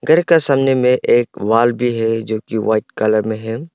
घर का सामने में एक वॉल भी है जो की वाइट कलर में है।